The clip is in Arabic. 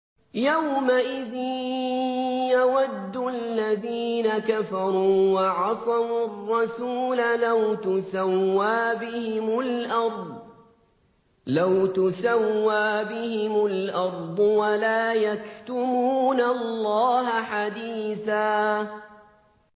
يَوْمَئِذٍ يَوَدُّ الَّذِينَ كَفَرُوا وَعَصَوُا الرَّسُولَ لَوْ تُسَوَّىٰ بِهِمُ الْأَرْضُ وَلَا يَكْتُمُونَ اللَّهَ حَدِيثًا